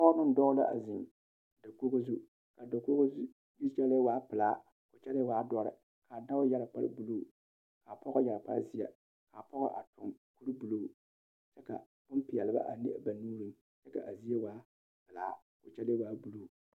Pɔge ne dɔɔ la ziŋ dakoge zu a dakoge zu kyɛlɛɛ waa pilaa ko kyɛlɛɛ waa dɔre a dɔɔ yɛre kpare buluu kaa pɔge yɛre kpare zeɛ kaa pɔge a tuŋ kure buluu kyɛ ka boŋpeɛle a leŋ ba nuuriŋ ko kyɛlee waa pilaa ko kyɛlee waa buluu.